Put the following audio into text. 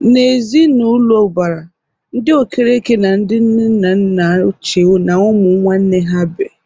N'ezi na ụlọ ụbara, ndị Okereke na ndị nne na nna ochie na ụmụ nwanne ha bi.